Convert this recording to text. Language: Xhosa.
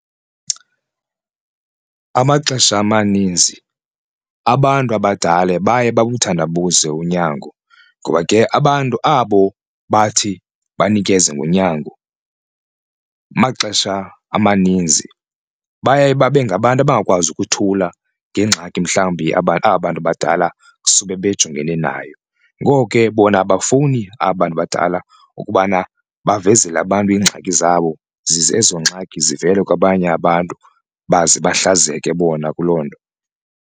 Amaxesha amaninzi abantu abadala baye babuthandabuze unyango ngoba ke abantu abo bathi banikeze ngonyango amaxesha amaninzi baye babe ngabantu abangakwazi ukuthula ngengxaki mhlawumbi aba aba bantu badala sube bejongene nayo. Ngoko ke bona abafuni aba bantu badala ukubana bavezele abantu iingxaki zabo zize ezo ngxaki zivele kwabanye abantu baze bahlazeke bona kuloo nto.